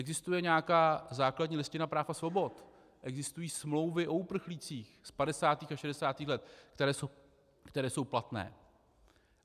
Existuje nějaká základní listina práv a svobod, existují smlouvy o uprchlících z 50. a 60. let, které jsou platné.